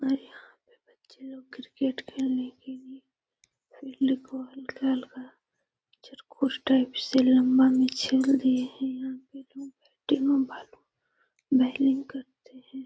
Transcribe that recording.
यहाँ पे बच्चे लोग क्रिकेट खेलने के लिए खेलने को --